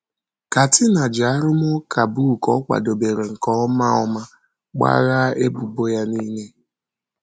Katina ji arụmụka book ọ kwadebere nke ọma ọma gbaghaa ebubo ya nile.